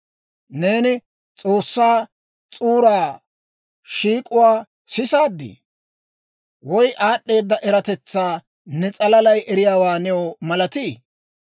Neeni S'oossaa S'uura shiik'uwaa sisaadii? Woy aad'd'eeda eratetsaa ne s'alalay eriyaawaa new malatii?